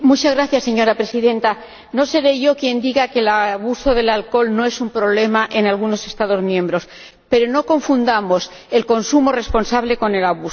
Señora Presidenta, no seré yo quien diga que el abuso del alcohol no es un problema en algunos Estados miembros, pero no confundamos el consumo responsable con el abuso.